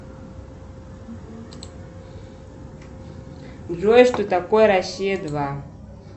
джой что такое россия два